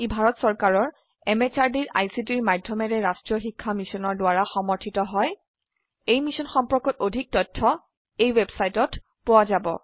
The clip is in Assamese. ই ভাৰত চৰকাৰৰ MHRDৰ ICTৰ মাধয়মেৰে ৰাস্ত্ৰীয় শিক্ষা মিছনৰ দ্ৱাৰা সমৰ্থিত হয় এই মিশ্যন সম্পৰ্কত অধিক তথ্য spoken hyphen tutorial dot org slash এনএমইআইচিত হাইফেন ইন্ট্ৰ ৱেবচাইটত পোৱা যাব